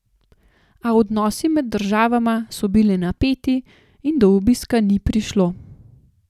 A odnosi med državama so bili napeti in do obiska ni prišlo.